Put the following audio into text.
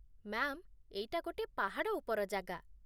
Ma'am, ଏଇଟା ଗୋଟେ ପାହାଡ଼ ଉପର ଜାଗା ।